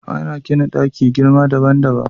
Ana gina ɗaki girma daban daban